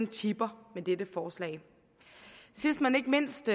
tipper med dette forslag sidst men ikke mindst